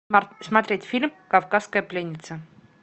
смотреть фильм кавказская пленница